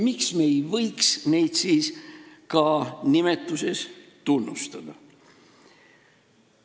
Miks me ei võiks seda siis ka nimetuses tunnistada?